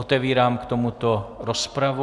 Otevírám k tomuto rozpravu.